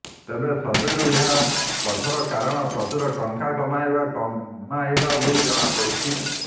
ତେବେ ସର୍ଭେରୁ ଏହା ପଛର କାରଣ ପ୍ରଚୁର ଟଙ୍କା କମାଇବା କମାଇବା ବୋଲି ଜଣାପଡିଛି